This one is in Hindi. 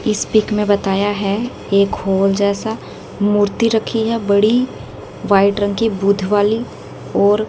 इस पिक में बताया है एक होल जैसा मूर्ति रखी है बड़ी व्हाइट रंग की बुद्ध वाली और--